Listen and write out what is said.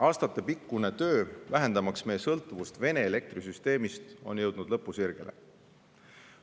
Aastatepikkune töö vähendamaks meie sõltuvust Vene elektrisüsteemist on jõudnud lõpusirgele.